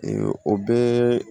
o bɛɛ